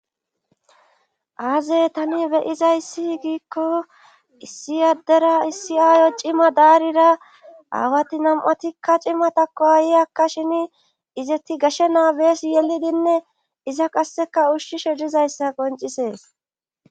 aaze tani beyizayssi giikko issi addera issi aayo cima daarira aawati nam7atikka cimatakko ayi akka shini izeti gashe naabees yelidinne iza qasseka ushshishe dizayssa qoncisees